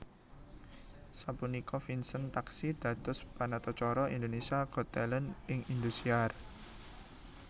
Sapunika Vincent taksih dados panatacara Indonesia Got Talent ing Indosiar